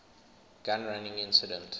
gun running incident